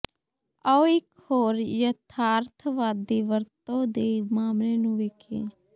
ਆਓ ਇਕ ਹੋਰ ਯਥਾਰਥਵਾਦੀ ਵਰਤੋਂ ਦੇ ਮਾਮਲੇ ਨੂੰ ਵੇਖੀਏ